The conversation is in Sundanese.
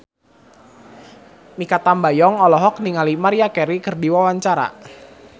Mikha Tambayong olohok ningali Maria Carey keur diwawancara